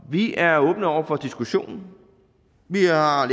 vi er åbne over for diskussionen vi har